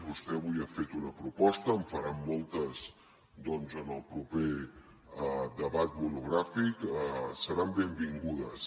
vostè avui ha fet una proposta en faran moltes doncs en el proper debat monogràfic seran benvingudes